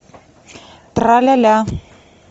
тра ля ля